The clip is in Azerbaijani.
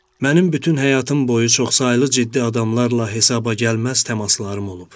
Mənim bütün həyatım boyu çoxsaylı ciddi adamlarla hesaba gəlməz təmaslarım olub.